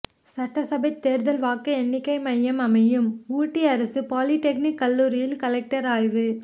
சட்டசபை தேர்தல் வாக்கு எண்ணிக்கை மையம் அமையும் ஊட்டி அரசு பாலிடெக்னிக் கல்லூரியில் கலெக்டர் ஆய்வு